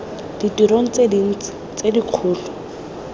ditirong tse dintsi tse dikgolo